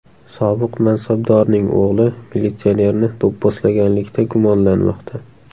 Sobiq mansabdorning o‘g‘li militsionerni do‘pposlaganlikda gumonlanmoqda.